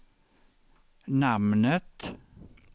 namnet